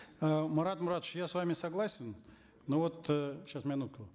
э марат муратович я с вами согласен но вот э сейчас минутку